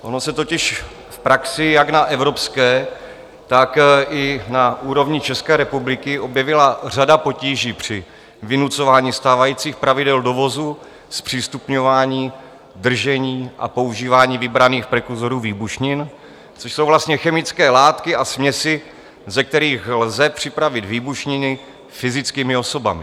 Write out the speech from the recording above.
Ono se totiž v praxi jak na evropské, tak i na úrovni České republiky objevila řada potíží při vynucování stávajících pravidel dovozu, zpřístupňování, držení a používání vybraných prekurzorů výbušnin, což jsou vlastně chemické látky a směsi, ze kterých lze připravit výbušniny fyzickými osobami.